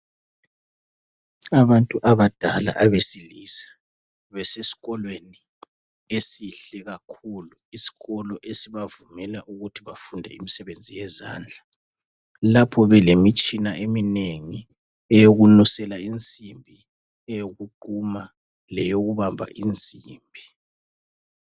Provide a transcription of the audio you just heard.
Abantu abadala abesilisa besesikolweni esihle kakhulu isikolo esibavumela ukuthi bafunde imisebenzi yezandla lapho belemitshina eminengi eyokunusela insimbi ,eyokuquma leyokubamba insimbi.